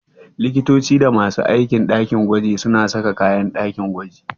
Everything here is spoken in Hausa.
Likitoci da masu aiki a ɗakin gwaji suna sa kayan ɗakin gwaji.